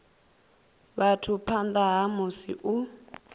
vhathu phanḓa ha musi u